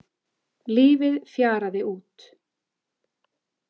Lífið fjaraði út.